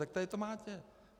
Tak tady to máte.